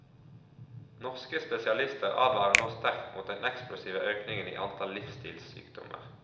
Norske spesialister advarer nå sterkt mot den eksplosive økningen i antall livsstilssykdommer.